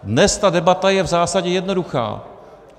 Dnes ta debata je v zásadě jednoduchá.